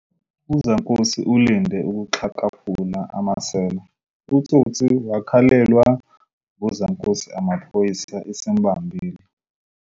Uzankosi ulinde ukuxhakamfula amasela. utsotsi wakhalelwa ngozankosi amaphoyisa esembambile